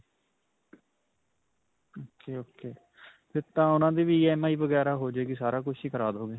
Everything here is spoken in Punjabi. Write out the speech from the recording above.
ok. ok. ਫਿਰ ਤਾਂ ਉਨ੍ਹਾਂ ਦੀ ਵੀ EMI ਵਗੈਰਾ ਹੋ ਜਾਵੇਗੀ, ਸਾਰਾ ਕੁੱਝ ਹੀ ਕਰਾ ਦਵੋਗੇ?